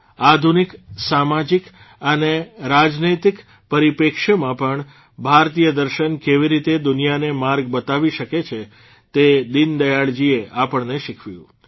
આધુનિક સામાજીક અને રાજનૈતિક પરિપ્રેક્ષ્યમાં પણ ભારતીય દર્શન કેવી રીતે દુનિયાને માર્ગ બતાવી શકે છે તે દીનદયાળજીએ આપણને શિખવ્યું